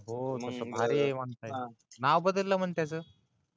हो मंग ONE SIDE म्हणते